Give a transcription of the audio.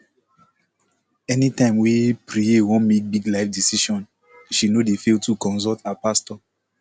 anytime wey preye wan make big life decision she no dey fail to consult her pastor